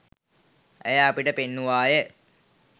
ඇය අපිට පෙන්නුවාය.